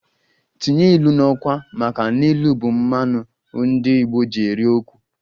Tinye ilu n'okwu! maka n'ilu bu mmanu ndi igbo ji eri okwu